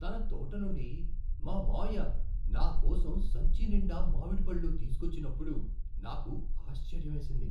తన తోట నుండి మా మామయ్య నాకోసం సంచి నిండా మామిడి పళ్ళు తీసుకువచ్చినప్పుడు నాకు ఆశ్చర్యమేసింది.